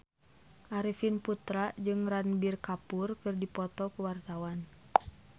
Arifin Putra jeung Ranbir Kapoor keur dipoto ku wartawan